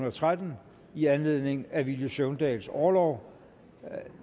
og tretten i anledning af villy søvndals orlov